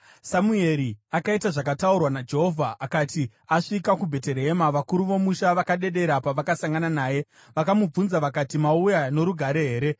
Samueri akaita zvakataurwa naJehovha. Akati asvika kuBheterehema, vakuru vomusha vakadedera pavakasangana naye. Vakamubvunza vakati, “Mauya norugare here?”